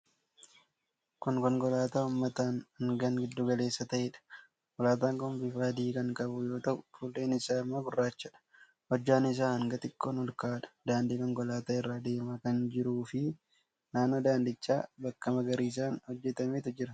Kun konkolaataa uummataa hangaan giddu-galeessa ta'eedha. Konkolaataan kun bufa adii kan qabu yoo ta'u, fuulleen isaa immoo gurraachadha. Hojjaan isaa hanga xiqqoon ol ka'aadha. Daandii konkolaataa irra deemaa kan jiruufi naannoo daandichaa bakka magariisaan hojjetametu jira.